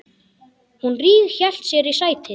Hún ríghélt sér í sætið.